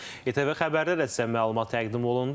ITV xəbərdə də sizə məlumat təqdim olundu.